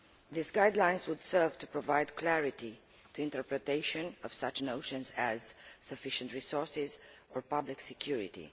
Those guidelines would serve to provide clarity in the interpretation of such notions as sufficient resources' and public security'.